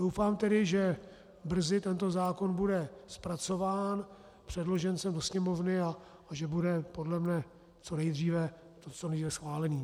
Doufám tedy, že brzy tento zákon bude zpracován, předložen sem do Sněmovny a že bude podle mě co nejdříve schválen.